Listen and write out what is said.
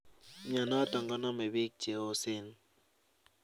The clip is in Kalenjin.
Mionotok koname biik cheoseen